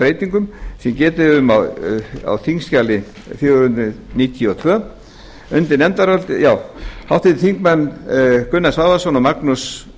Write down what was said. breytingum sem getið er um á þingskjali fjögur hundruð níutíu og tvö háttvirtir þingmenn gunnar svavarsson og magnús